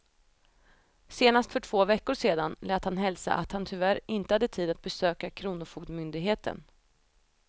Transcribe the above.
Senast för två veckor sedan lät han hälsa att han tyvärr inte hade tid att besöka kronofogdemyndigheten.